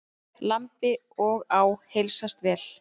Lambi og á heilsast vel.